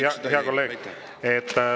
Aitäh, hea kolleeg!